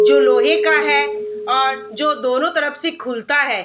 जो लोहे का है और जो दोनों तरफ से खुलता है।